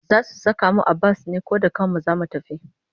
Za su saka mu a bas ne ko da kanmu za mu tafi?